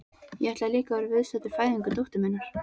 Ég ætlaði líka að vera viðstaddur fæðingu dóttur minnar.